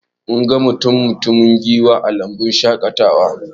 Mun ga mutum-mutumin giwa a lambun shaƙatawar